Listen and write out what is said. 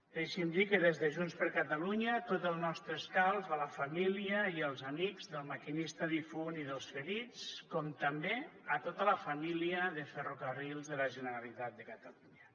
deixi’m dir que des de junts per catalunya tot el nostre escalf a la família i els amics del maquinista difunt i dels ferits com també a tota la família de ferrocarrils de la generalitat de catalunya